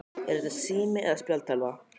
Er þetta sími eða spjaldtölva?